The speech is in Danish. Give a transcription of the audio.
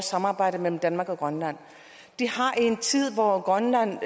samarbejdet mellem danmark og grønland det har i en tid hvor grønland